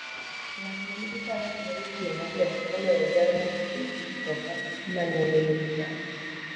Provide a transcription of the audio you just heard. Ng'at ma nigi Faras nyalo tiyo maber moloyo jal ma nigi mtoka ma nengone ni malo.